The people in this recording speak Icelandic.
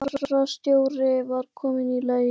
Sólborg fararstjóri var komin í leitirnar.